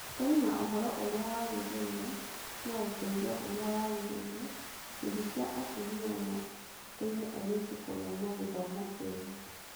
Kũrĩ na ũhoro ũrĩa wagĩrĩire na ũteithio ũrĩa wagĩrĩire, ikundi cia atumia no iteithie airĩtu kũgĩa na gĩthomo kĩega.